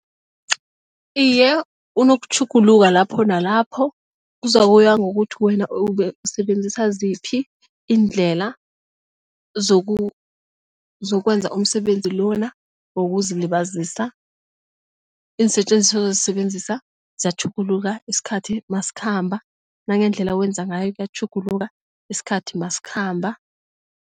Iye, unokutjhuguluka lapho nalapho kuzokuya ngokuthi wena ukusebenzisa ziphi iindlela zokwenza umsebenzi lona wokuzilibazisa iinsetjenziswa azozisebenzisa ziyatjhuguluka isikhathi masikhamba nangendlela wenza ngayo kuyatjhuguluka isikhathi masikhamba.